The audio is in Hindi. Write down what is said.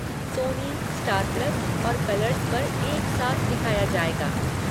सोनी, स्टार प्लस, और कलर्स पर एक साथ दिखाया जाएगा।